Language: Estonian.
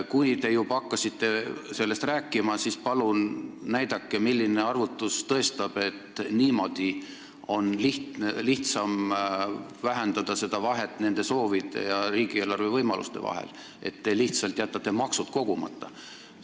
Kui te juba hakkasite sellest rääkima, siis palun näidake, milline arvutus tõestab, et lihtsam on vähendada vahet nende soovide ja riigieelarve võimaluste vahel niimoodi, et te lihtsalt jätate maksud kogumata.